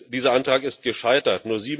Dieser Antrag ist gescheitert.